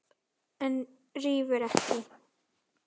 En rífur ekki.